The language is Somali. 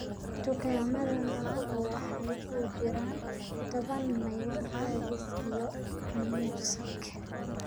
dukaamada magacu waxay u jiraan toban mayl raadis iyo muusig